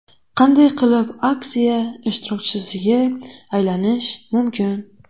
Qanday qilib aksiya ishtirokchisiga aylanish mumkin?